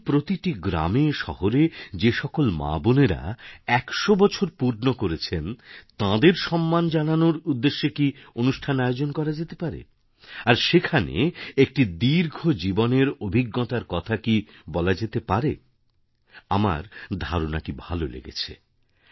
কিন্তু প্রতিটি গ্রামে শহরে যে সকল মা বোনেরা ১০০ বছর পূর্ণ করেছেন তাঁদের সম্মান জানানোর উদ্দেশ্যে কি অনুষ্ঠান আয়োজন করা যেতে পারে আর সেখানে একটি দীর্ঘ জীবনের অভিজ্ঞতার কথা কি বলা যেতে পারে আমার ধারণাটি ভালো লেগেছে